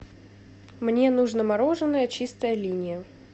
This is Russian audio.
мне нужно мороженое чистая линия